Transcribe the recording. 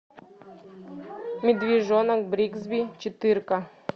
медвежонок бригсби четыре ка